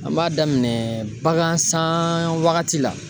An b'a daminɛ bagan san wagati la